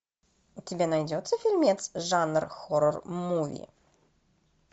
у тебя найдется фильмец жанр хоррор муви